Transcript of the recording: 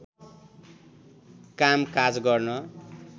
कामकाज गर्न